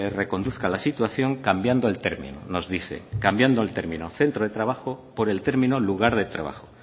reconduzca la situación cambiando el término nos dice cambiando el término centro de trabajo por el término lugar de trabajo